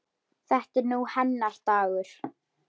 Þetta er nú hennar dagur.